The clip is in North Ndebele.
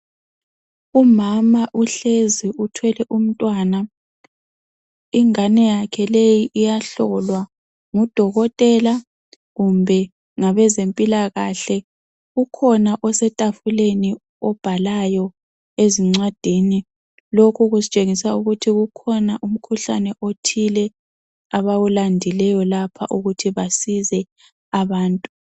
Umama uhlezi uthwele umntwana. Ingane yakhe leyi iyahlolwa ngudokotela kumbe ngabezempilakahle. Ukhona osetafuleni obhalayo ezincwadini lokhu kusitshengisa ukuthi kukhona umkhuhlane othile abawulandileyo lapha ukuthi basize abantu.